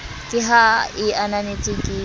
ka ha e ananetswe ke